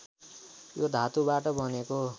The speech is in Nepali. यो धातुबाट बनेको